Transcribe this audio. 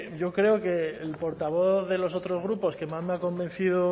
yo creo que el portavoz de los otros grupos que más me ha convencido o